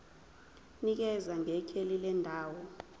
nikeza ngekheli lendawo